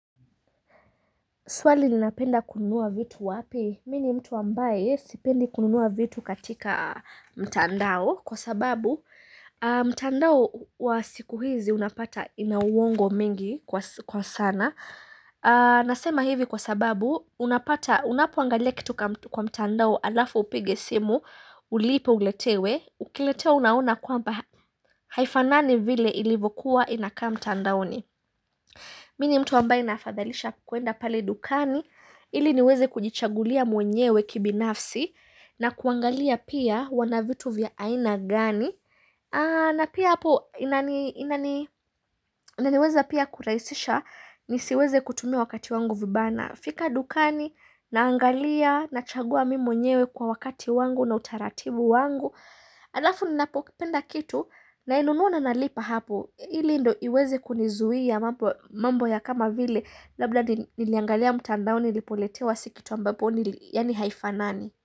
Swali ninapenda kununua vitu wapi? Mi ni mtu ambaye sipendi kununua vitu katika mtandao Kwa sababu mtandao wa siku hizi unapata inauongo mengi kwa sana Nasema hivi kwa sababu unapata unapoangalia kitu ka kwa mtandao alafu upige simu Ulipe uletewe ukiletewa unaona kwamba haifanani vile ilivokuwa inakaa mtandaoni Mi ni mtu ambaye naafadhalisha kwenda pale dukani ili niweze kujichagulia mwenyewe kibinafsi na kuangalia pia wanavitu vya aina gani na pia hapo inani inaniweza pia kurahisisha nisiweze kutumia wakati wangu vibaya nafika dukani naangalia na chagua mimi mwenyewe kwa wakati wangu na utaratibu wangu Alafu ninapopenda kitu nainunua na nalipa hapo, ili ndo iweze kunizuia mambo ya kama vile, labda niliangalia mtandao nilipoletewa si kitu ambapo, yaani haifa nani.